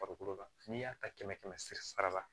Farikolo la n'i y'a ta kɛmɛ kɛmɛ sira la